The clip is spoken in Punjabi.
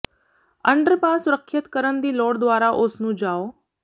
ਅੰਡਰਪਾਸ ਸੁਰੱਖਿਅਤ ਕਰਨ ਦੀ ਲੋੜ ਦੁਆਰਾ ਉਸ ਨੂੰ ਜਾਓ